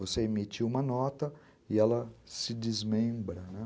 Você emitir uma nota e ela se desmembra.